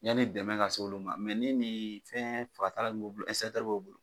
Yani dɛmɛ ka se olu ma mɛ ni ni fɛn fagata b'olu bolo ɛnsɛkitri be olu bolo